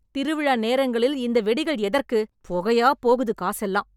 திருவிழா நேரங்களில் இந்த வெடிகள் எதற்கு? பொகையாப் போகுது காசெல்லாம்